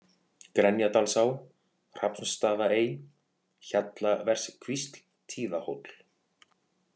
Grenjadalsá, Hrafnsstaðaey, Hjallaverskvísl, Tíðahóll